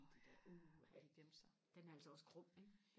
i de der uha den er altså også grum ikke